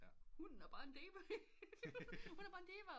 Hunnen er bar en diva hun er bare en dive